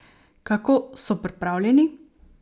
Kako so pripravljeni?